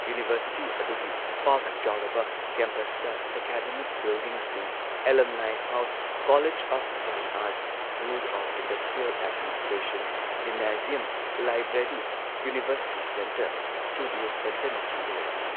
University ꯑꯗꯨꯒꯤ ꯄꯥꯛ ꯆꯥꯎꯔꯕ ꯀꯦꯝꯄꯁꯇ ꯑꯦꯀꯥꯗꯦꯃꯤꯛ ꯕꯤꯜꯗꯤꯡꯁꯤꯡ, alumni house, college of fine arts, school of industrial administration, gymnasium, library, university centre, studio ꯁꯦꯟꯇꯔꯅꯆꯤꯡꯕ ꯂꯩ ꯫